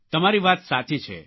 તમારી વાત સાચી છે